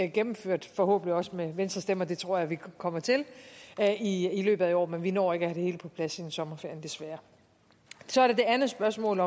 gennemført forhåbentlig også med venstres stemmer og det tror jeg vi kommer til i i løbet af i år men vi når ikke at have det hele på plads inden sommerferien desværre så er der det andet spørgsmål